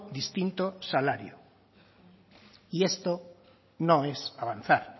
distinto salario y esto no es avanzar